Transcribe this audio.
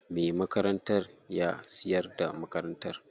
Me makarantar ya siyar da makarantar.